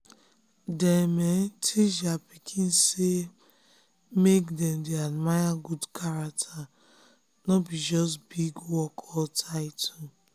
dem um teach their pikin say um make dem dey admire good character no be just big work or title.